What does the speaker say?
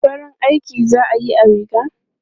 Farin aiki za a yi a rigar?